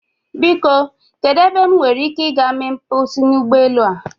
Biko kedu ebe m nwere ike ị gaa mee mkposi n'ụgbọelu a?